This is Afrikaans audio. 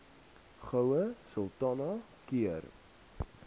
goue sultana keur